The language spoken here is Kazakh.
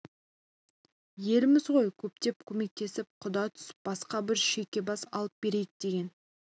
елміз ғой көптеп көмектесіп құда түсіп басқа бір шүйкебас алып берейік деген